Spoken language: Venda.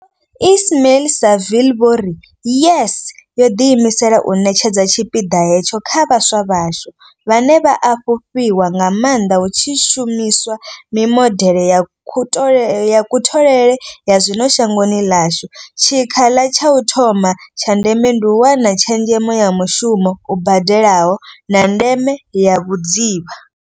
Vho Ismail-Saville vho ri YES yo ḓi imisela u ṋetshedza tshipiḓa hetsho kha vhaswa vhashu, vhane vha a fhufhiwa nga maanḓa hu tshi shumiswa mimodeḽe ya kutholele ya zwino shangoni ḽashu, tshikhala tsha u thoma tsha ndeme ndi u wana tshezhemo ya mushumo u badelaho, na ndeme ya vhudzivha.